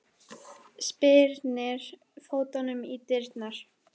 Spyrnir fótunum í dyrnar.